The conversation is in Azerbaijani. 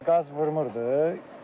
Qaz vurmurdu.